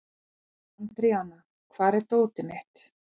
Andríana, hvar er dótið mitt?